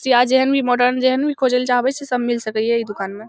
सिया जहेन भी मोड़ेन जहेन भी खोजेले चाहबे सब मिल सके ये इ दुकान में |